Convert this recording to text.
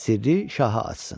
Sirri şaha açsın.